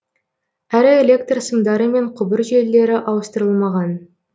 әрі электр сымдары мен құбыр желілері ауыстырылмаған